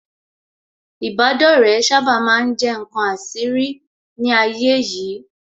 Ìbádọ́rẹ̀ẹ́ sábà ma ń jẹ́ ǹkan àṣírí ní ayé yìí